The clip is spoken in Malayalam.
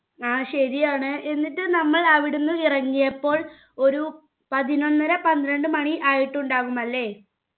ആ ശരിയാണ് എന്നിട്ട് നമ്മൾ അവിടുന്ന് ഇറങ്ങിയപ്പോൾ ഒരു പതിനൊന്നര പന്ത്രണ്ടു മാണി ആയിട്ടുണ്ടാവും അല്ലെ